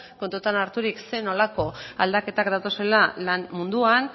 kontutan harturik zer nolako aldaketak datozela lan munduan